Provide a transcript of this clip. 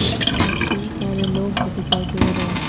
आसपास कई सारे लोग भी दिखाई दे रहे हैं।